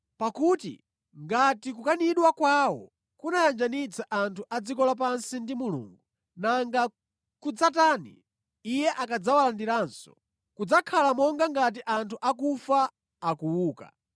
Pakuti ngati kukanidwa kwawo kunayanjanitsa anthu a dziko lapansi ndi Mulungu, nanga kudzatani, Iye akadzawalandiranso? Kudzakhala monga ngati anthu akufa akuuka.